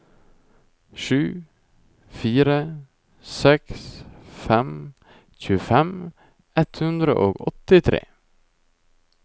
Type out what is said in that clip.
sju fire seks fem tjuefem ett hundre og åttitre